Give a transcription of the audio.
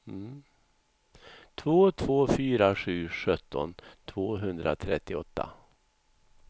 två två fyra sju sjutton tvåhundratrettioåtta